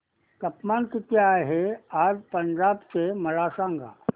तापमान किती आहे आज पंजाब चे मला सांगा